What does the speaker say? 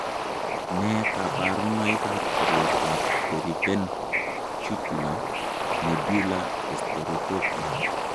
Nee kabarunoikab koroitoab periventricular nodular heterotopia?